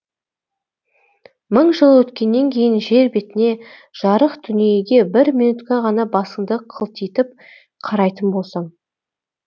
мың жыл өткеннен кейін жер бетіне жарық дүниеге бір минутқа ғана басыңды қылтитып қарайтын болсаң